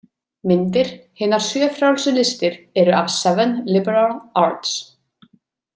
Myndir Hinar sjö frjálsu listir eru af Seven Liberal Arts.